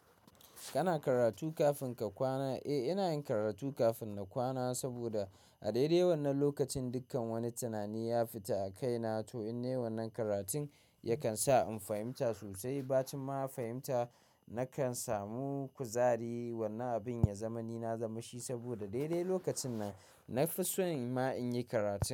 Kana karatu kafin ka kwana? Eh, ina yin karatu kafin na kwana saboda a daidai wannan lokacin dukkan wani tunani ya fita a kaina to in ne wannan karatun yakan sa in fahimta sosai. Bacin ma fahimta nakan samu kuzari. Wannan abin ya zamani na zamashi saboda daidai lokacin nan na fi son ma in yi karatu.